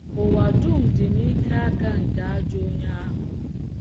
Ụwa dum dị n’ike aka nke ajọ onye ahụ.